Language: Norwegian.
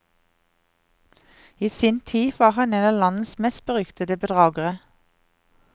I sin tid var han en av landets mest beryktede bedragere.